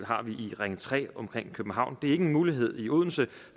har vi i ring tre omkring københavn det er ikke en mulighed i odense